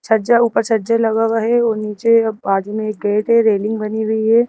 छज्जा ऊपर छज्जे लगा हुआ है और नीचे बाजू में एक गेट है रेलिंग बनी हुई है।